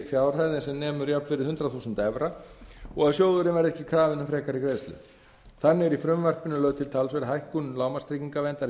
fjárhæð en nemur jafnvirði hundrað þúsund evra og að sjóðurinn verður ekki krafinn um frekari greiðslu þannig er í frumvarpinu lögð til talsverð hækkun lágmarkstryggingaverndar